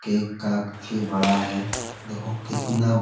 cake काफी बड़ा है देखो कितना--